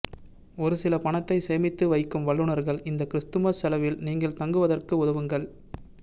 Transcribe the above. ஒரு சில பணத்தை சேமித்து வைக்கும் வல்லுனர்கள் இந்த கிறிஸ்துமஸ் செலவில் நீங்கள் தங்குவதற்கு உதவுங்கள்